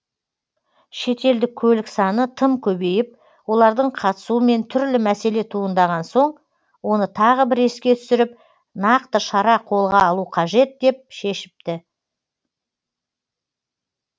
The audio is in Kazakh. шетелдік көлік саны тым көбейіп олардың қатысуымен түрлі мәселе туындаған соң оны тағы бір еске түсіріп нақты шара қолға алу қажет деп шешіпті